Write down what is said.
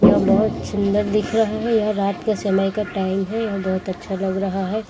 यह बहुत सुंदर दिख रहा है यह रात का समय का टाइम है यह बहुत अच्छा लग रहा है।